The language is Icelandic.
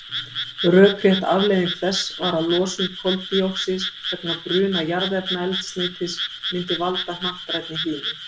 Rökrétt afleiðing þess var að losun koldíoxíðs vegna bruna jarðefnaeldsneytis myndi valda hnattrænni hlýnun.